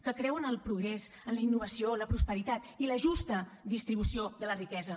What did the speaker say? que creu en el progrés en la innovació la prosperitat i la justa distribució de la riquesa